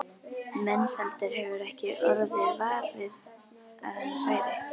Mensalder hefur ekki orðið var við að hann færi.